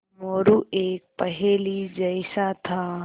मोरू एक पहेली जैसा था